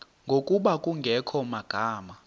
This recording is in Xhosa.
ngokuba kungekho magama